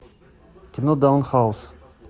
кино даун хаус